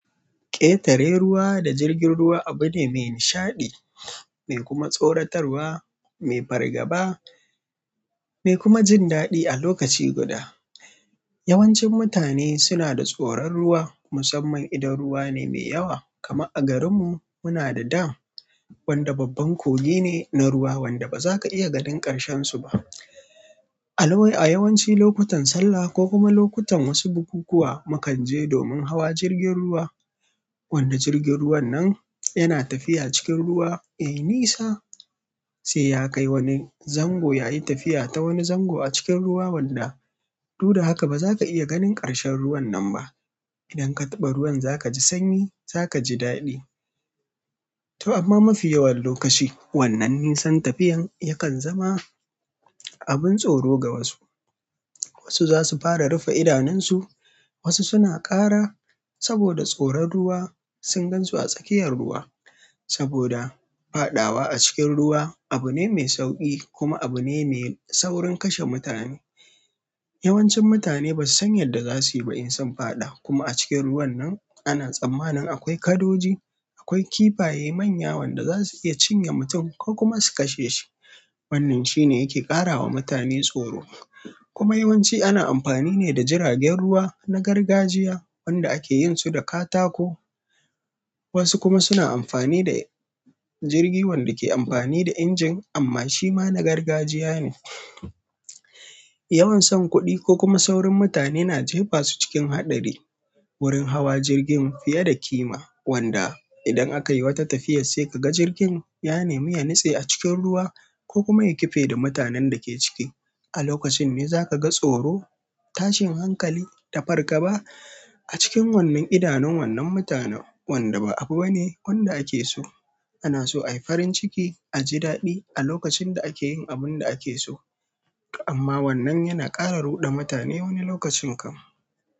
Ƙetare ruwa da jirgin ruwa abu ne mai nishaɗi mai kuma tsoratarwa mai fargaba mai kuma jin daɗi a lokaci guda. Yawancin mutane suna da tsoron ruwa musamman idan ruwa ne mai yawa. Kamar a garinmu muna da dam wanda babban koge ne na ruwa wanda ba za ka iya ganin ƙarshensu ba. A lawwai a yawanci lokutan sallah ko kuma lokutan wasu bukukuwa mukan je domin hawa jirgin ruwa. Wannan jirgin ruwan nan yana tafiya cikin ruwa. Eh, nisa sai ya kai wani zango ya yi tafiya ta wani zango a cikin ruwa wanda du da haka ba za ka iya ganin ƙarshen ruwan nan ba. Idan ka taɓa ruwan za ka ji sanyi, za ka ji daɗi. To amma mafi yawan lokaci wannan nisan tafiyan yakan zama abin tsoro ga wasu. Wasu zasu fara rufe idanunsu, wasu suna ƙara saboda tsoron ruwa sun gan su a tsakiyar ruwa. Saboda faɗawa a cikin ruwa abu ne mai sauƙi kuma abu ne mai saurin kashe mutane. Yawancin mutane ba su san yadda za su yi ba in sun faɗa. Kuma a cikin ruwan nan ana tsammanin akwai kadoji akwai kifaye manya wanda za su iya cinye mutum ko kuma su kashe ki wannan shi ne yake ƙarawa mutane tsoro. Kuma yawanci ana amfani ne da jiragen ruwa na gargajiya wanda ake yin su da katako. Wasu kuma suna amfani da jirgi wanda ke amfani da injin amma shi ma na gargajiya ne. Yawan san kuɗi ko kuma saurin mutane na jefa su cikin haɗari. Wurin hawa jirgin fiye da kima wanda idan aka yi wata tafiya sai ka ga jirgin ya nemi ya nitse a cikin ruwa ko kuma ya kife da mutanen da ke ciki. A lokacin ne za ka ga tsoro, tashin hankali da farkaba a cikin wannan idanun wannan mutanen wanda ba abu bane wanda ake so. Ana so a yi farin ciki, a ji daɗi a lokacin da ake yin abun da ake so. Amma wannan yana ƙara ruɗa mutane wani lokacin kam.